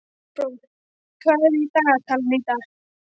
Kolbrún, hvað er í dagatalinu í dag?